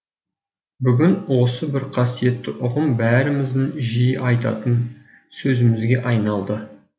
бүгін осы бір қасиетті ұғым бәріміздің жиі айтатын сөзімізге айналды